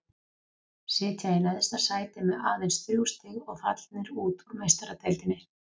Sitja í neðsta sæti með aðeins þrjú stig og fallnir út úr Meistaradeildinni.